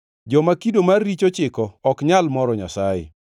Joma kido mar richo chiko ok nyal moro Nyasaye.